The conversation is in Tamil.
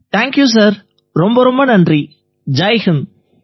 தேங்க்யூ சார் ரொம்ப ரொம்ப நன்றி ஜெய் ஹிந்த்